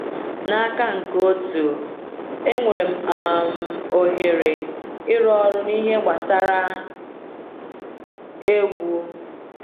N’aka nke otu, enwere um ohere ịrụ ọrụ n’ihe gbasara egwu.